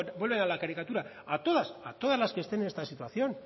vuelvo a la caricatura a todas a todas las que estén en esta situación